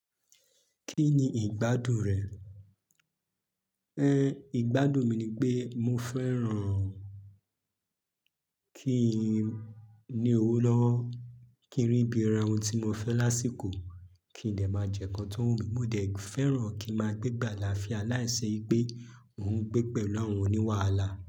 Kí ni ìgbádùn rẹ̀? Ẹn, ìgbádùn mi ni pé mo fẹ́ràn kí i ní owó lọ́wọ́, kí n rí bi ra ohun tí mo fẹ́ lásìkò, kí n dè máa jẹ́ kan tó wùmí, mo dẹ̀ fẹ́ràn kí n máa gbé gbàlàafia láìṣe pé mo ń gbé pẹ̀lú àwọn oní wàhálà.